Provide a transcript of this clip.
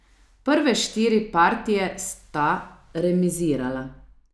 Prve štiri partije sta remizirala.